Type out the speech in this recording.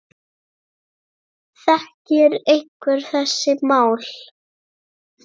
Þekkir einhver þessi mál?